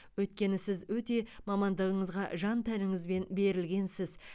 өйткені сіз өте мамандығыңызға жан тәніңізбен берілгенсіз